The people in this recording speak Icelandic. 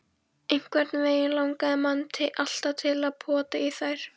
Einhvernveginn langaði mann alltaf til að pota í þær.